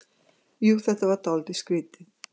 Jú, þetta var dálítið skrýtið.